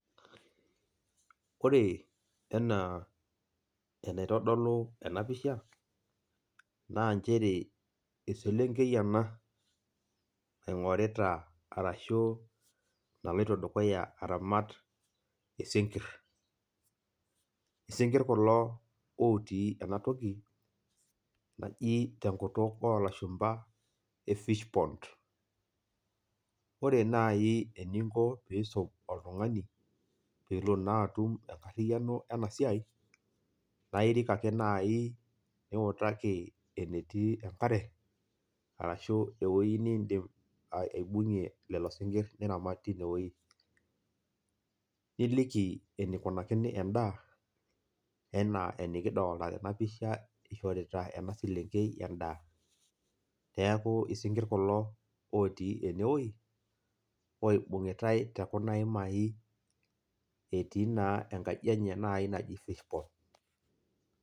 Ore enaa enaitodolu enapisha, naa njere eselenkei ena naing'orita arashu naloito dukuya aramat isinkirr. Isinkirr kulo otii enatoki, naji tenkutuk olashumpa e fish pond. Ore nai eninko pisum oltung'ani pelo naa atum enkarriyiano enasiai, na irik ake nai niutaki enetii enkare, arashu ewoi nidim aibung'ie lelo sinkirr, niramat tinewoi. Niliki enikunakini endaa, enaa enikidolta tenapisha ishorita ena selenkei endaa. Neeku isinkirr kulo otii enewoi, oibung'itai tekuna imai, etii naa enkaji enye nai naji fish pond.